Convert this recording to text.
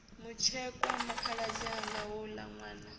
mutshekwa khaladzi anga houla nwana